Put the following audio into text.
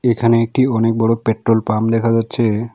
এখানে একটি অনেক বড় পেট্রোল পাম্প দেখা যাচ্ছে।